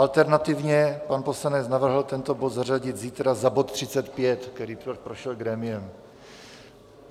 Alternativně pan poslanec navrhl tento bod zařadit zítra za bod 35, který prošel grémiem.